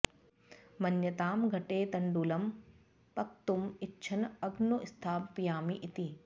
मन्यतां घटे तण्डुलं पक्तुम् इच्छन् अग्नौ स्थापयामि इति